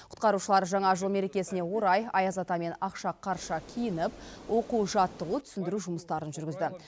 құтқарушылар жаңа жыл мерекесіне орай аяз ата мен ақшақарша киініп оқу жаттығу түсіндіру жұмыстарын жүргізді